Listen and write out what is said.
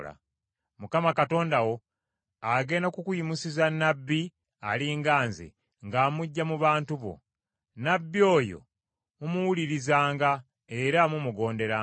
Mukama Katonda wo agenda kukuyimusiza Nnabbi ali nga nze, ng’amuggya mu bantu bo. Nnabbi oyo mumuwulirizanga era mumugonderanga.